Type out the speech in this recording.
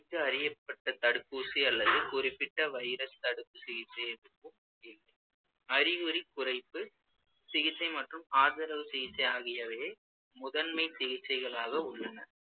அறியப்பட்ட தடுப்பூசி அல்லது குறிப்பிட்ட virus தடுப்பு சிகிச்சை எதுவும் அறிகுறி குறைப்பு சிகிச்சை மற்றும் ஆதரவு சிகிச்சை ஆகியவையே முதன்மை சிகிச்சைகளாக உள்ளன